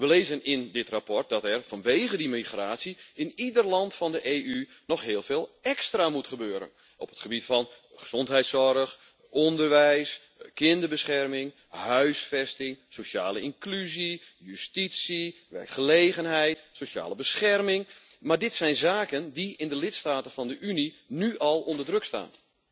We lezen in dit verslag dat er vanwege die migratie in ieder land van de EU nog heel veel extra moet gebeuren op het gebied van gezondheidszorg, onderwijs, kinderbescherming, huisvesting, sociale inclusie, justitie, werkgelegenheid, sociale bescherming, maar dit zijn zaken die in de lidstaten van de Unie nu al onder druk staan.